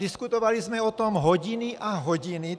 Diskutovali jsme o tom hodiny a hodiny.